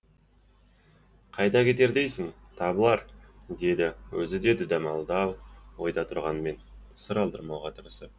қайда кетер дейсің табылар деді өзі де дүдамал ойда тұрғанмен сыр алдырмауға тырысып